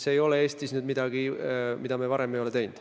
See ei ole Eestis midagi, mida me varem ei ole teinud.